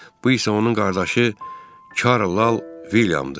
Bu isə onun qardaşı Karl Lal Vilyamdır.